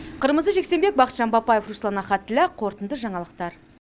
қырмызы жексенбек бахытжан бапаев руслан ахатіллә қорытынды жаңалықтар